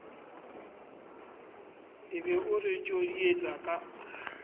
be o re tjodietsa ka